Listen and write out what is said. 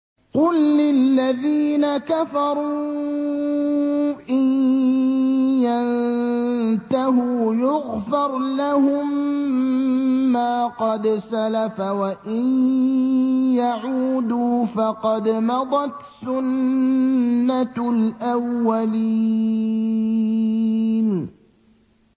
قُل لِّلَّذِينَ كَفَرُوا إِن يَنتَهُوا يُغْفَرْ لَهُم مَّا قَدْ سَلَفَ وَإِن يَعُودُوا فَقَدْ مَضَتْ سُنَّتُ الْأَوَّلِينَ